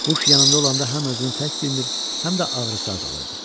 Quş yanında olanda həm özünü tək bilmir, həm də ağrısı azalırdı.